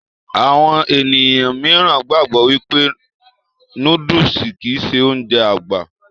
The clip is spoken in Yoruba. Àwọn ènìyàn míìràn gbàgbọ́ wípé nóódùsì kìí ṣe Ounjẹ àgbà